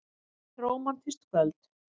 Þetta er rómantískt kvöld.